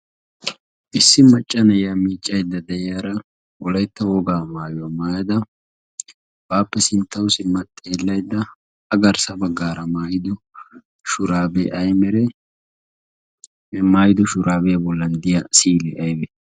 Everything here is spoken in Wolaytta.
issi macca na'iya miiccaidda de'iyaara wolaytta wogaa maayuwaa maayada baappe sinttawu simma xeellaydda a garssa baggaara a maayido shuraabee bollan diya siili aymale